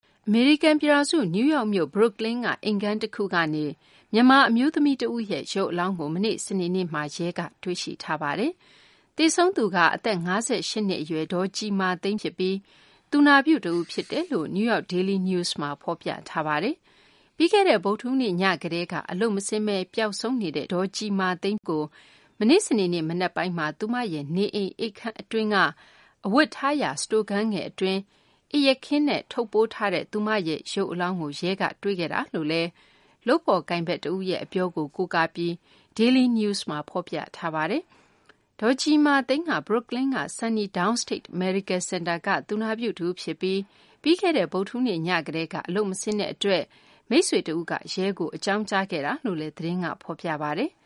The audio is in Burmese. အမေရိကန် ပြည်ထောင်စု နယူးယောက်မြို့ Brooklyn က အိမ်ခန်းတခုကနေ မြန်မာ အမျိုးသမီး တဦးရဲ့ ရုပ်အလောင်းကို မနေ့ စနေနေ့မှာ ရဲက တွေ့ရှိထားပါတယ်။ သေဆုံးသူက အသက် ၅၈ နှစ် အရွယ် ဒေါ်ကြည်မာသိန်း ဖြစ်ပြီး သူနာပြု တဦး ဖြစ်တယ်လို့ NewYork Daily News မှာ ဖော်ပြထားပါတယ်။ ပြီးခဲ့တဲ့ ဗုဒ္ဓဟူးနေ့ည ကတည်းက အလုပ်မဆင်းဘဲ ပျောက်ဆုံးနေတဲ့ ဒေါ်ကြည်မာသိန်းကို မနေ့ စနေနေ့ မနက်ပိုင်းမှာ သူမရဲ့ နေအိမ် အိပ်ခန်းအတွင်းက အဝတ်ထားရာ စတိုခန်းငယ် အတွင်းမှာ အိပ်ယာခင်းနဲ့ ထုပ်ပိုးထားတဲ့ သူမရဲ့ ရုပ်အလောင်းကို ရဲက တွေ့ခဲ့တာလို့လည်း လုပ်ဖော်ကိုင်ဖက် တဦးရဲ့ အပြောကို ကိုးကားပြီး Daily News မှာ ဖော်ပြထားပါတယ်။ ဒေါ်ကြည်မာသိန်းက ဘရွတ်ကလင်းက SUNY Downstate Medical Center က သူနာပြု တဦး ဖြစ်ပြီး ပြီးခဲ့တဲ့ ဗုဒ္ဓဟူးနေ့ညကတည်းက အလုပ်မဆင်းတဲ့ အတွက် သူမရဲ့ မိတ်ဆွေ တဦးက ရဲကို အကြောင်းကြားခဲ့တာလို့လည်း သတင်းက ဖော်ပြပါတယ်။